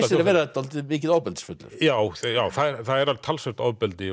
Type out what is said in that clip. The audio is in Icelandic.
sér að vera dálítið mikið ofbeldisfullur já það já það er talsvert ofbeldi